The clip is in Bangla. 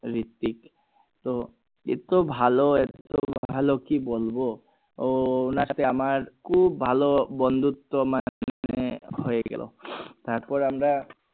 রিত্তিক তো এতো ভালো এতো এতো ভালো কি বলবো ওনার সাথে আমার খুব ভালো বন্ধুত্ব হয়ে গেল তার পর আমরা